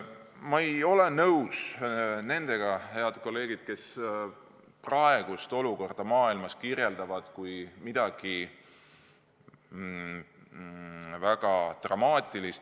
Ma ei ole nõus nendega, head kolleegid, kes praegust olukorda maailmas kirjeldavad kui midagi väga dramaatilist.